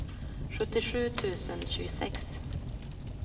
sjuttiosju tusen tjugosex